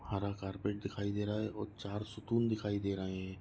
हरा कार्पेट दिखाई दे रहा है और चार सुकून दिखाई दे रहे है।